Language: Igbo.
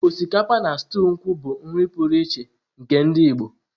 Osikapa na stuu nkwu bụ otu n'ime nri pụrụ iche nke ndị Igbo.